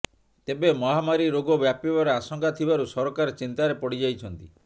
ତେବେ ମହାମାରୀ ରୋଗ ବ୍ୟାପିବାର ଆଶଙ୍କା ଥିବାରୁ ସରକାର ଚିନ୍ତାରେ ପଡ଼ିଯାଇଛନ୍ତି